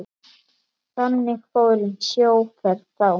Þannig fór um sjóferð þá.